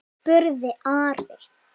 spurði Ari.